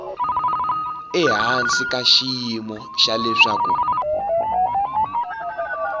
ehansi ka xiyimo xa leswaku